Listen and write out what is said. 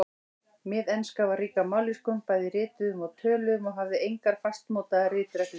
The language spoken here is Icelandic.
Miðenska var rík af mállýskum, bæði rituðum og töluðum, og hafði engar fastmótaðar ritreglur.